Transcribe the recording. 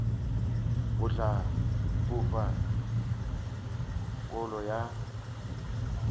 go tla fofa kolo ya